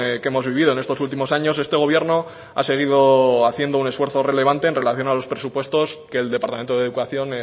que hemos vivido en estos últimos años este gobierno ha seguido haciendo un esfuerzo relevante en relación a los presupuestos que el departamento de educación